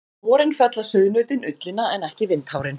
Á vorin fella sauðnautin ullina en ekki vindhárin.